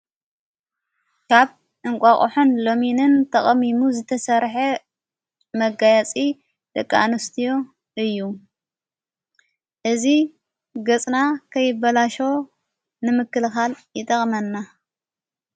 ካብ እንቋቕሖን ሎሚንን ተቐሚሙ ዝተሠርሐ መጋያጺ ደቃኣንስትዮ እዩ እዝ ገጽና ከይበላሻ ንምክልኻል ይጠቕመናይጠቕመና።